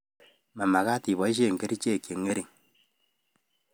Mmakat ipaishe kerichek chengering